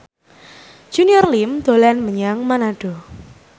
Junior Liem dolan menyang Manado